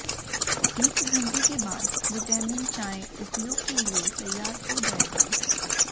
एक घंटे के बाद विटामिन चाय उपयोग के लिए तैयार हो जाएगा